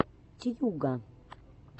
тьюга